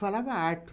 Falava alto.